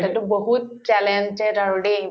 বহুত talented আৰু দেই